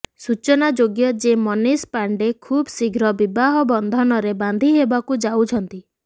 ସୂଚନାଯୋଗ୍ୟ ଯେ ମନୀଷ ପାଣ୍ଡେ ଖୁବ ଶୀଘ୍ର ବିବାହ ବନ୍ଧନରେ ବାନ୍ଧିହେବାକୁ ଯାଉଛନ୍ତି